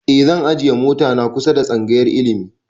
E zan ajiye mota na kusa tsangayar ilimi